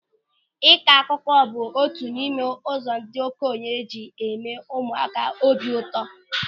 Ịkọ akụkọ bụ otu n'ime ụzọ ndị okenye ji eme ụmụaka obi ụtọ.